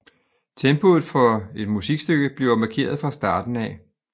Tempoet for et musikstykke bliver markeret fra starten af